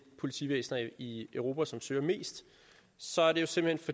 politivæsener i europa som søger mest så er det simpelt